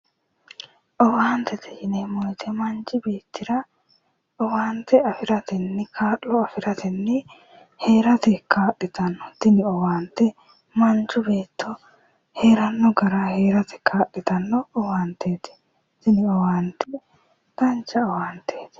owaantete yaa manchi beettira owaante afirate kaa'lo aatenni heerate kaa 'litanno owaante manchu baatto heeranno gara heerate kaa'litanno owaanteeti. tini owaante dancha owaanteeti